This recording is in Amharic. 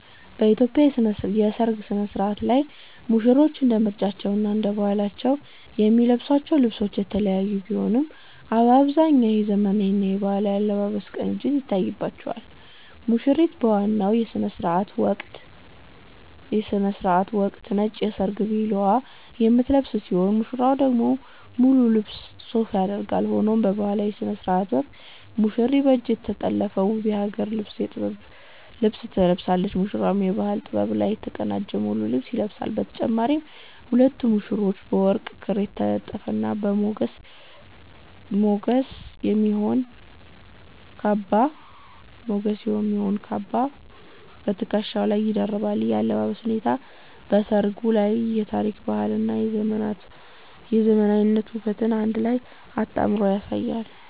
በኢትዮጵያ የሠርግ ሥነ-ሥርዓት ላይ ሙሽሮች እንደ ምርጫቸውና እንደ ባህላቸው የሚለብሷቸው ልብሶች የተለያዩ ቢሆኑም፣ በአብዛኛው የዘመናዊና የባህላዊ አለባበስ ቅንጅት ይታይባቸዋል። ሙሽሪት በዋናው የሥነ-ሥርዓት ወቅት ነጭ የሰርግ ልብስ 'ቬሎ' የምትለብስ ሲሆን፣ ሙሽራው ደግሞ ሙሉ ልብስ 'ሱፍ' ያደርጋል። ሆኖም በባህላዊው ሥነ-ሥርዓት ወቅት ሙሽሪት በእጅ የተጠለፈ ውብ የሀገር ውስጥ የጥበብ ልብስ ትለብሳለች፤ ሙሽራውም ከባህላዊ ጥበብ ጋር የተቀናጀ ሙሉ ልብስ ይለብሳል። በተጨማሪም ሁለቱም ሙሽሮች በወርቅ ክር የተጠለፈና ለግርማ ሞገስ የሚሆን "ካባ" በትከሻቸው ላይ ይደርባሉ። ይህ የአለባበስ ሁኔታ በሠርጉ ላይ የታሪክ፣ የባህልና የዘመናዊነት ውበትን በአንድ ላይ አጣምሮ ያሳያል።